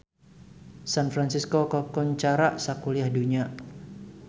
San Fransisco kakoncara sakuliah dunya